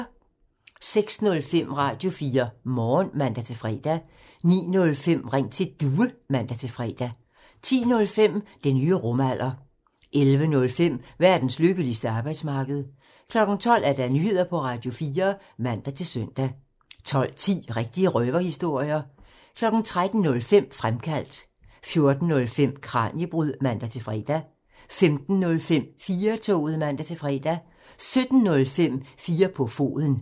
06:05: Radio4 Morgen (man-fre) 09:05: Ring til Due (man-fre) 10:05: Den nye rumalder (man) 11:05: Verdens lykkeligste arbejdsmarked (man) 12:00: Nyheder på Radio4 (man-søn) 12:10: Rigtige røverhistorier (man) 13:05: Fremkaldt (man) 14:05: Kraniebrud (man-fre) 15:05: 4-toget (man-fre) 17:05: 4 på foden (man)